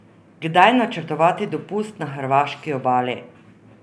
Kdaj načrtovati dopust na hrvaški obali?